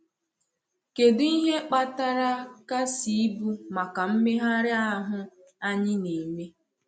Kèdụ ihe kpatara kàsị ibu maka mmegharị ahụ anyị na-eme?